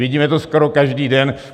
Vidíme to skoro každý den.